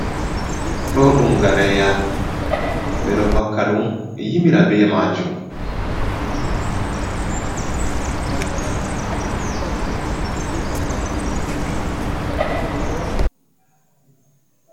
Ɗo ɗum gareya beɗo vakka ɗum yimira be majom.